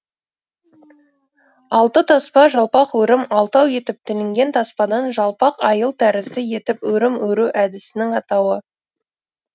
алты таспа жалпақ өрім алтау етіп тілінген таспадан жалпақ айыл тәрізді етіп өрім өру әдісінің атауы